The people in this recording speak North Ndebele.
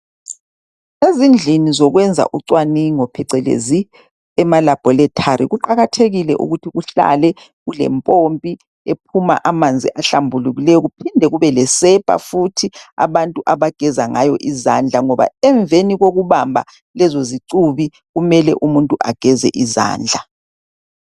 Ezindlini zokwenza uncwaningo phecelezi emalabholethari, kuqakathekile ukuthi kuhlale kulempompi ephuma amanzi ahlambulukileyo kuphinde kube lesepa futhi abantu abageza ngayo izandla ngoba emveni kokubamba lezo zicubi kumele umuntu ageze izandla.